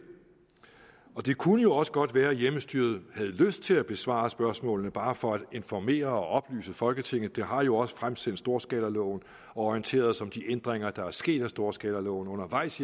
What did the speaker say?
det kunne jo også godt være at hjemmestyret havde lyst til at besvare spørgsmålene bare for at informere og oplyse folketinget det har jo også fremsendt storskalaloven og orienteret os om de ændringer der er sket med storskalaloven undervejs